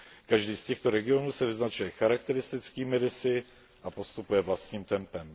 Každý z těchto regionů se vyznačuje charakteristickými rysy a postupuje vlastním tempem.